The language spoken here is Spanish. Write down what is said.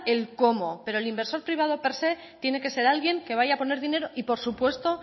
el cómo pero el inversor privado per sé tiene que ser alguien que vaya a poder dinero y por supuesto